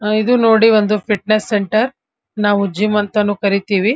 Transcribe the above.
ಅಅ ಎದು ನೋಡಿ ಒಂದು ಫಿಟ್ನೆಸ್ ಸೆಂಟರ್ ನಾವು ಜಿಮ್ ಅಂತಾನೂ ಕರೀತೀವಿ.